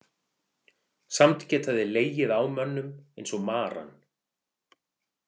Samt geta þeir legið á mönnum eins og maran.